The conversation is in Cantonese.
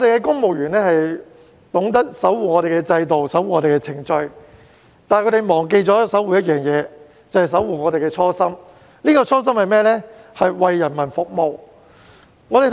公務員懂得守護香港的制度和程序，但他們忘記了守護我們的初心，就是為人民服務。